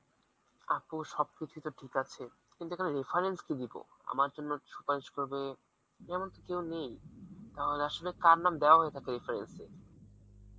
আপু সবকিছুই তো ঠিক আছে কিন্তু এখানে reference কি দিব আমার জন্য করবে তেমন তো কেউ নেই তাহলে আসলে কার নাম দেয়া হয়ে থাকে reference এ?